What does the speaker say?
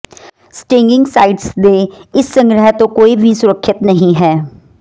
stinging sites ਦੇ ਇਸ ਸੰਗ੍ਰਹਿ ਤੋਂ ਕੋਈ ਵੀ ਸੁਰੱਖਿਅਤ ਨਹੀਂ ਹੈ